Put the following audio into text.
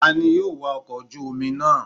Tani yóò wa ọkọ̀ ojú omi náà?